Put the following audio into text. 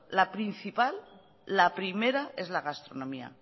la principal la primera es la gastronomía